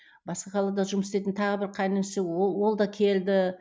басқа қалада жұмыс істейтін тағы бір қайын інісі ол да келді